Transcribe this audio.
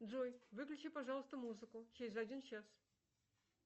джой выключи пожалуйста музыку через один час